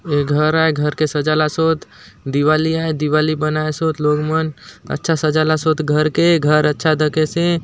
ऐ घर आय घर के सजाला सोत दिवाली आय दिवाली बनाए सोत लोग मन अच्छा सजाला सोत घर के घर अच्छा देखसे ।